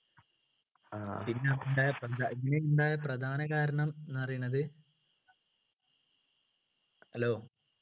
പിന്നെ ഉണ്ടാ പിന്നെ ഉണ്ടായ പ്രധാന കാരണം എന്ന് പറയുന്നത് hello